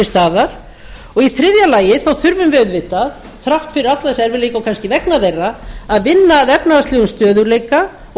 staðar og í þriðja lagi þurfum við auðvitað þrátt fyrir alla þessa erfiðleika og kannski vegna þeirra að vinna að efnahagslegum stöðugleika og